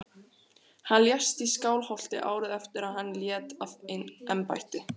Hann lést í Skálholti árið eftir að hann lét af embætti.